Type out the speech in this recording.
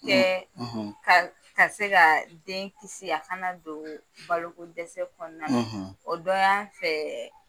ka ka se ka den kisi a kana don balo ko dɛsɛ kɔnɔna, , o dɔ y'a fɛ